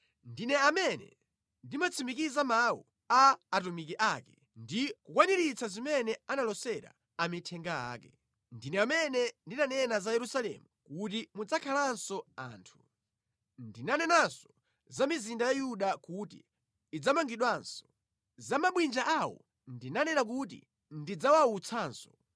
Ndine amene ndimatsimikiza mawu a atumiki ake ndi kukwaniritsa zimene analosera amithenga ake. “Ndine amene ndinanena za Yerusalemu kuti mudzakhalanso anthu. Ndinanenanso za mizinda ya Yuda kuti idzamangidwanso. Za mabwinja awo ndinanena kuti ndidzawawutsanso.